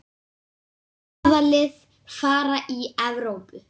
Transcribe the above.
Hvaða lið fara í Evrópu?